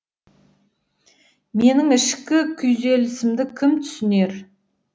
менің ішкі күйзелісімді кім түсінер